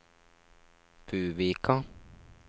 Buvika